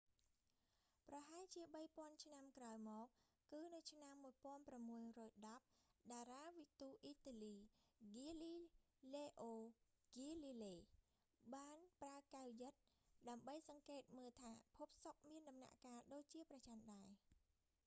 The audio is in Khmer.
ប្រហែលជាបីពាន់ឆ្នាំក្រោយមក គឺនៅឆ្នាំ 1610 តារាវិទូអ៊ីតាលី ហ្គាលីឡេអូ ហ្គាលីឡេ galileo galile បានប្រើកែវយឹត ដើម្បីសង្កេតមើលថាភពសុក្រមានដំណាក់កាលដូចជាព្រះចន្ទដែរ